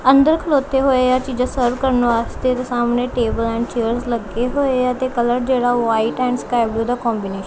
ਅੰਦਰ ਖਲੋਤੇ ਹੋਏ ਆ ਚੀਜ਼ਾਂ ਸਰਵ ਕਰਨ ਵਾਸਤੇ ਸਾਹਮਣੇ ਟੇਬਲ ਐਂਡ ਚੇਅਰ ਲੱਗੇ ਹੋਏ ਆ ਤੇ ਕਲਰ ਜਿਹੜਾ ਉਹ ਵਾਈਟ ਐਂਡ ਸਕਾਈ ਬਲੂ ਦਾ ਕੋਂਬੀਨੇਸ਼ਨ ।